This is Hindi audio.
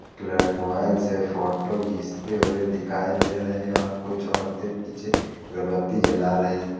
कलर मोबाईल से फोटो घिंचते हुए दिखाई दे रहें हैं और कुछ औरतें पीछे अगरबत्ती जला रही है।